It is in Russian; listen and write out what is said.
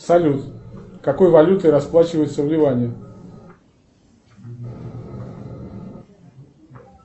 салют какой валютой расплачиваются в ливане